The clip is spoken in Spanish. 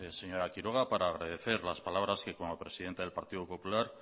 señora quiroga para agradecer las palabras que como presidenta